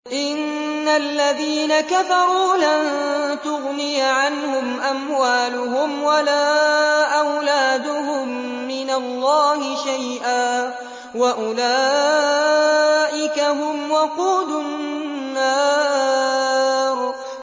إِنَّ الَّذِينَ كَفَرُوا لَن تُغْنِيَ عَنْهُمْ أَمْوَالُهُمْ وَلَا أَوْلَادُهُم مِّنَ اللَّهِ شَيْئًا ۖ وَأُولَٰئِكَ هُمْ وَقُودُ النَّارِ